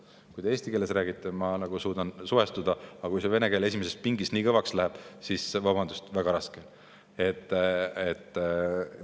Kui te eesti keeles räägite, siis ma suudan suhestuda, aga kui vene keel esimeses pingis nii kõvaks läheb, siis on, vabandust, väga raske.